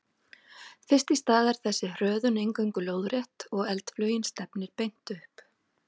Fyrst í stað er þessi hröðun eingöngu lóðrétt og eldflaugin stefnir beint upp.